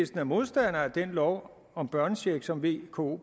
er modstander af den lov om børnecheck som vko